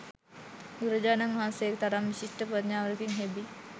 බුදුරජාණන් වහන්සේගේ තරම් විශිෂ්ට ප්‍රඥාවකින් හෙබි